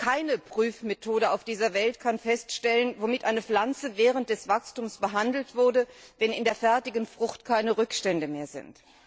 Keine Prüfmethode auf dieser Welt kann feststellen, womit eine Pflanze während des Wachstums behandelt wurde, wenn in der fertigen Frucht keine Rückstände mehr sind.